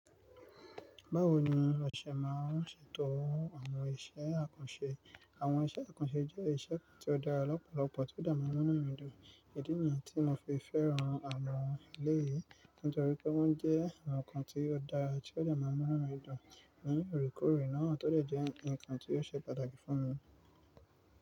Báwo ni ọṣẹ máa ń ṣètò àwọn iṣẹ́ àkànṣe? Àwọn iṣẹ́ àkànṣe jẹ́ iṣẹ́ tí ó dára lọ́pọ̀lọpọ̀, tí ó dè maa n mu inu mì dùn. Îdí niyii tí mo fi fẹ́ran àwọn eléyìí nítorípé wọ́n jẹ́ àwọn nǹkan tí ó dára tí ó dè maa n mu inu mi dùn ní òorekoore náà, tó dẹ́ je ǹkan tí ó ṣe pàtàkì fún mi.